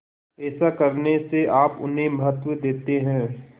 ऐसा करने से आप उन्हें महत्व देते हैं